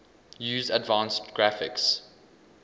use advanced graphics